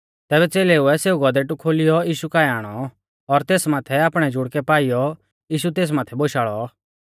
तैबै च़ेलेउऐ सेऊ गौधेटु खोलियौ यीशु काऐ आणौ और तेस माथै आपणै जुड़कै पाईयौ यीशु तेस माथै बोशाल़ौ